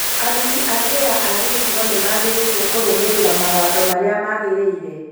Aruti a wĩra a gĩcigo nĩmagĩrĩirwo kũrũmĩrĩra mawatho marĩa magĩrĩire